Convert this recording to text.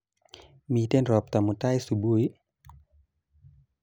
Miten robta mutai subui?